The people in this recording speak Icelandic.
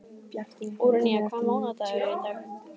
Úranía, hvaða mánaðardagur er í dag?